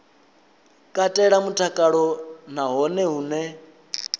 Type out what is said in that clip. katela mutakalo na hone hune